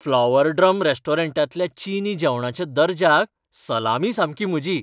Flower Drum रेस्टॉरंटांतल्या चिनी जेवणाच्या दर्जाक सलामी सामकी म्हजी!